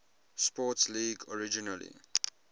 sports league originally